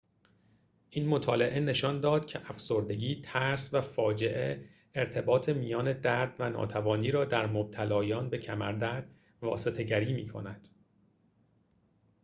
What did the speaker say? این مطالعه نشان داد که افسردگی ترس و فاجعه ارتباط میان درد و ناتوانی را در مبتلایان به کمردرد واسطه گری میکند